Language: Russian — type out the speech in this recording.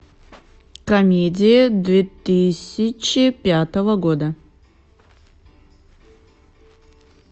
комедия две тысячи пятого года